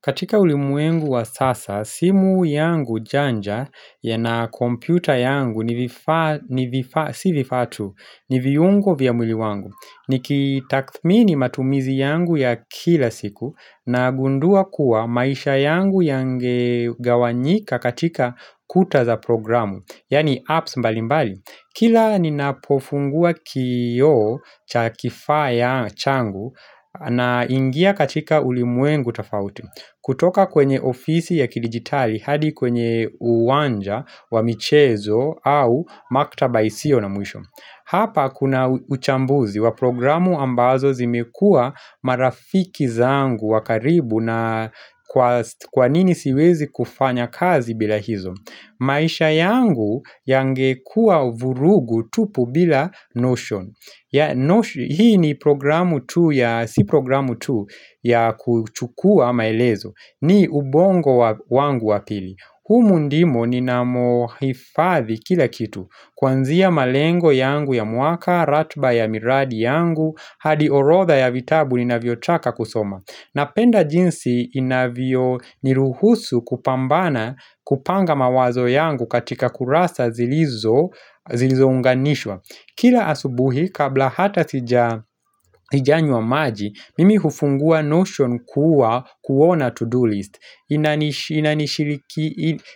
Katika ulimwengu wa sasa, simu yangu janja ya na kompyuta yangu ni vifaa ni viungo vya mwili wangu. Nikitakthmini matumizi yangu ya kila siku nagundua kuwa maisha yangu yangegawanyika katika kuta za programu, yaani apps mbali mbali. Kila ninapofungua kioo cha kifaa ya changu naingia katika ulimwengu tafauti. Kutoka kwenye ofisi ya kidijitali hadi kwenye uwanja wa michezo au maktaba isiyo na mwisho. Hapa kuna uchambuzi wa programu ambazo zimekuwa marafiki zangu wa karibu na kwanini siwezi kufanya kazi bila hizo. Maisha yangu yangekuwa vurugu tupu bila notion. Hii ni programu tu ya si programu tu ya kuchukua maelezo. Ni ubongo wangu wa pili. Humu ndimo ninamohifathi kila kitu Kwanzia malengo yangu ya mwaka, ratba ya miradi yangu hadi orodha ya vitabu ninavyotaka kusoma. Napenda jinsi inavyo niruhusu kupambana kupanga mawazo yangu katika kurasa zilizounganishwa Kila asubuhi kabla hata sijanywa maji, mimi hufungua notion kuwa kuona to-do list.